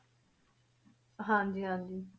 ਹਾਂਜੀ ਹਾਂਜੀ।